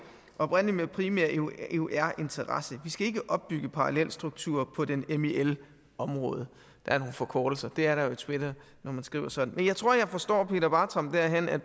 opr med primær eur interesse vi skal ikke opbygge parallelstrukturer på det mil område der er nogle forkortelser det er der jo i twitter når man skriver sådan men jeg tror jeg forstår peter bartram derhen at